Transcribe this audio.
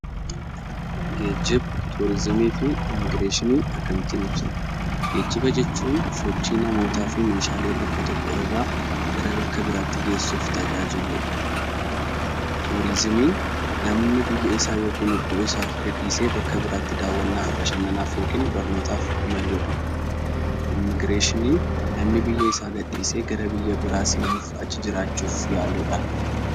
Geejiba turizimii fi immigireeshinii akkamiin ibsina? Geejiba jechuun sochii namoota fi Meeshaalee bakka tokko irraa gara bakka biraatti geessuuf tajaajiludha. Turizimiin namni biyya isaa gadhiisee yookiin bakka isaa gadhiisee daawwannaaf yookaan barnootaaf imaludha. Immigireeshinii namni biyya isaa gadhiisee gara biyya biraa seenuuf, achi jiraachuuf yaaludha.